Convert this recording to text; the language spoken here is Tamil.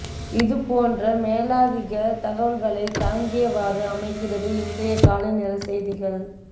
இது போன்ற மேலதிக தகவல்களை தாங்கியவாறு அமைகின்றது இன்றைய காலைநேர செய்திகள்